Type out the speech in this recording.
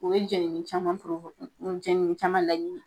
O ye jenini caman , jenini caman laɲini